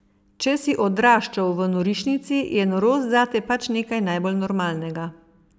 Če si odraščal v norišnici, je norost zate pač nekaj najbolj normalnega ...